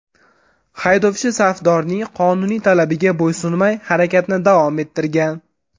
Haydovchi safdorning qonuniy talabiga bo‘ysunmay harakatni davom ettirgan.